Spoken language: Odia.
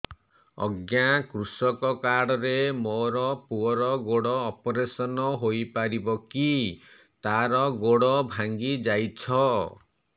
ଅଜ୍ଞା କୃଷକ କାର୍ଡ ରେ ମୋର ପୁଅର ଗୋଡ ଅପେରସନ ହୋଇପାରିବ କି ତାର ଗୋଡ ଭାଙ୍ଗି ଯାଇଛ